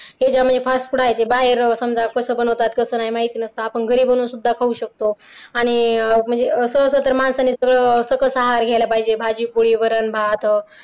त्याच्यामध्ये fast food आहे ते बाहेर समजा कस बनवतात कसं नाय माहिती नसतं आपण घरी बनवून सुद्धा खाऊ शकतो आणि असं असल तर माणसाने सरळ सकस आहार घ्यायला पाहिजे भाजी पोळी वरण भात